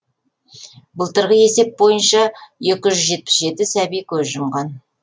былтырғы есеп бойынша екі жүз жетпіс жеті сәби көз жұмған